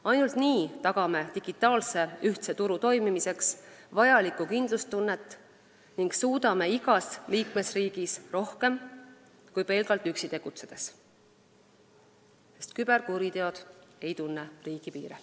Ainult nii tagame digitaalse ühtse turu toimimiseks vajalikku kindlustunnet ning suudame igas liikmesriigis rohkem kui pelgalt üksi tegutsedes, sest küberkuriteod ei tunne riigipiire.